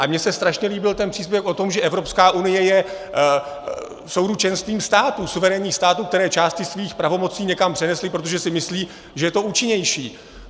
Ale mně se strašně líbil ten příspěvek o tom, že Evropská unie je souručenstvím států, suverénních států, které části svých pravomocí někam přenesly, protože si myslí, že je to účinnější.